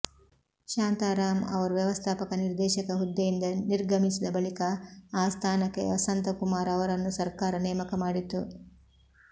ಶಾಂತಾರಾಂ ಅವರು ವ್ಯವಸ್ಥಾಪಕ ನಿರ್ದೇಶಕ ಹುದ್ದೆಯಿಂದ ನಿರ್ಗಮಿಸಿದ ಬಳಿಕ ಆ ಸ್ಥಾನಕ್ಕೆ ವಸಂತಕುಮಾರ್ ಅವರನ್ನು ಸರ್ಕಾರ ನೇಮಕ ಮಾಡಿತು